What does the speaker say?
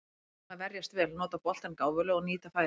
Við verðum að verjast vel, nota boltann gáfulega og nýta færin.